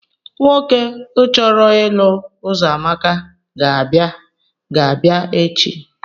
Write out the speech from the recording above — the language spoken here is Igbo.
Nwoke uchọrọ ịlụ uzoamaka ga-abịa ga-abia echi.